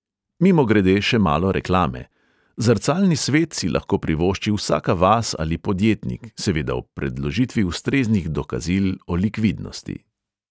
Mimogrede, še malo reklame – zrcalni svet si lahko privošči vsaka vas ali podjetnik, seveda ob predložitvi ustreznih dokazil o likvidnosti.